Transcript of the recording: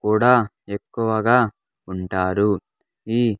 కూడా ఎక్కువగా ఉంటారు ఈ.